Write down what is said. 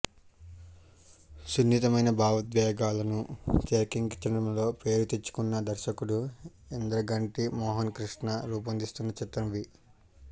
సున్నితమైన భావోద్వేగాలను తెరకెక్కించడంలో పేరు తెచ్చుకున్న దర్శకుడు ఇంద్రగంటి మోహనకృష్ణ రూపొందిస్తున్న చిత్రం వి